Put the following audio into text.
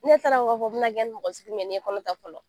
Ne t'a dɔn k'a fɔ bɛna kɛɲɛ ni mɔgɔ sugu min ye ni n ye kɔnɔta fɔlɔ